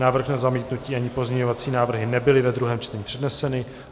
Návrh na zamítnutí ani pozměňovací návrhy nebyly ve druhém čtení předneseny.